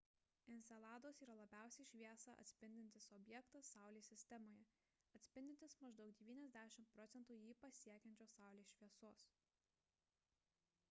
enceladas yra labiausiai šviesą atspindintis objektas saulės sistemoje atspindintis maždaug 90 procentų jį pasiekiančios saulės šviesos